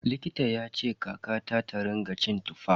Likita yace kakata ta rinƙa cin Tuffa.